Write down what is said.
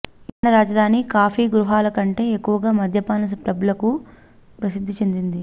Ireland రాజధాని coffee గృహాల కంటే ఎక్కువగా మద్యపాన పబ్లకు ప్రసిద్ధి చెందింది